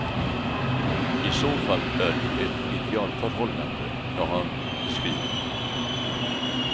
I så fall är det ju ett idealförhållande jag har beskrivit.